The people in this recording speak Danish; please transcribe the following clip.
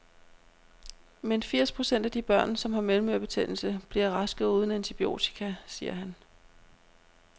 Men firs procent af de børn, som har mellemørebetændelse, bliver raske uden antibiotika, siger han.